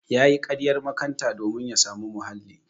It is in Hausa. Yayi ƙaryar makanta domin ya samu muhalli.